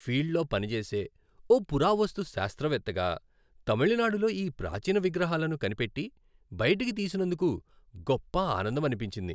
ఫీల్డ్లో పనిచేసే ఓ పురావస్తు శాస్త్రవేత్తగా, తమిళనాడులో ఈ ప్రాచీన విగ్రహాలను కనిపెట్టి, బయటికి తీసినందుకు గొప్ప ఆనందమనిపించింది.